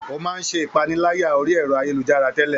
Ó máa ń ṣe ìpaniláyà orí ẹ̀rọ ayélujára tẹ́lẹ̀